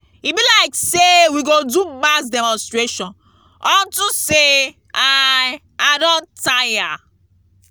e be like say we go do mass demonstration unto say i i don tire